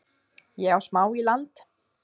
Ég á smá í land